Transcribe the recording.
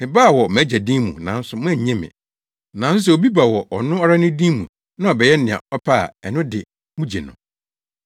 Mebaa wɔ mʼAgya din mu nanso moannye me. Nanso sɛ obi ba wɔ ɔno ara ne din mu na ɔbɛyɛ nea ɔpɛ a, ɛno de, mugye no.